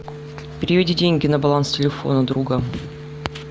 переведи деньги на баланс телефона друга